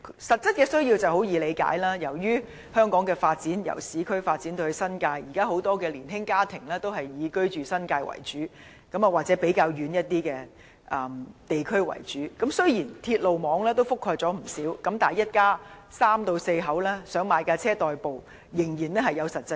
實質的需要很容易理解，由於香港由市區發展至新界，現時很多年輕家庭主要居住在新界或較偏遠的地區，雖然鐵路網已覆蓋不少地方，但一家三至四口仍有實際需要買車代步。